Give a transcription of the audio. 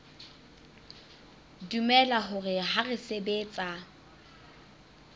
dumela hore ha re sebetsa